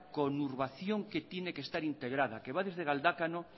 conurbación que tiene que estar integrada que va desde galdakao